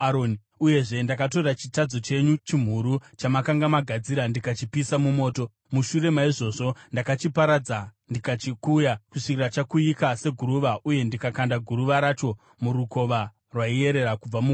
Uyezve ndakatora chitadzo chenyu, chimhuru chamakanga magadzira, ndikachipisa mumoto. Mushure maizvozvo ndakachiparadza ndikachikuya kusvikira chakuyika seguruva uye ndikakanda guruva racho murukova rwaiyerera kubva mugomo.